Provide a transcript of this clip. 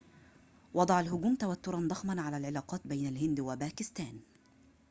وضع الهجوم توتراً ضخماً علي العلاقات بين الهند وباكستان